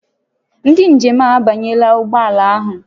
Ndị njem a abanyela ụgbọ ala ahụ